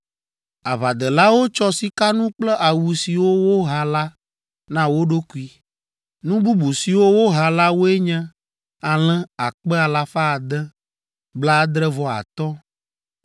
Aʋadelawo tsɔ sikanu kple awu siwo woha la na wo ɖokui. Nu bubu siwo woha la woe nye alẽ akpe alafa ade, blaadre-vɔ-atɔ̃ (675,000),